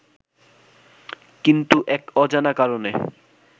কিন্তু এক অজানা কারণে